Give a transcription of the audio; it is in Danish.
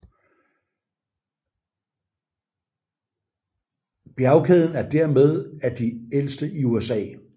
Bjergkæden er dermeden af de ældste i USA